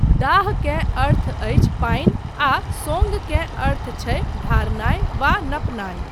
दाः केँ अर्थ अछि पानि आ सोङ्ग केँ अर्थ छै ढारनाय वा नपनाय।